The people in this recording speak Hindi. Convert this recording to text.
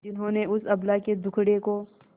जिन्होंने उस अबला के दुखड़े को